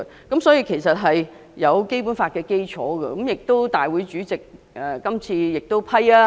這項議案其實是以《基本法》為基礎，亦得到立法會主席批准進行辯論。